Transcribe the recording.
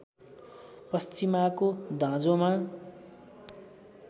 पश्चिमाको दाँजोमा